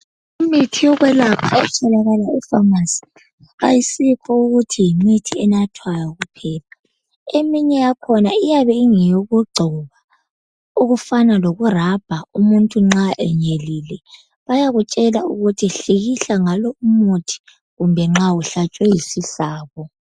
Imithi yokwelapha etholakala efamasi ayisikho ukuthi yimithi enathwayo kuphela. Eminye yakhona iyabe ingeyokugcoba okufana lokurabha umuntu nxa enyelile. Bayakutshela ukuthi hlikihla ngalowu umuthi kumbe nxa uhlatshwe yisihlabo.